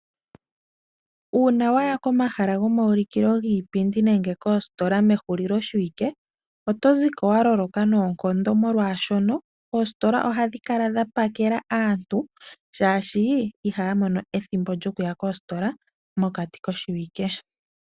Uuna waya komahala gomaulikilo giipindi nenge koositola mehulilo shiwike oto ziko waloloka noonkondo, molwaashono oositola ohadhi kala dhapakela aantu shaashi ihaya mono ethimbo lyokuya koositola mokati koshiwike.